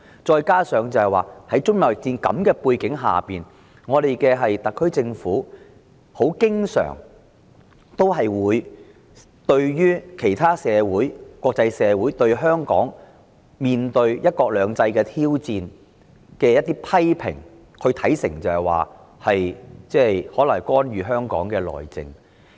再者，在中美貿易戰下，特別行政區政府經常將國際社會對香港"一國兩制"的情況作出的批評看成為對香港內政的干預。